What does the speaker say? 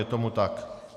Je tomu tak.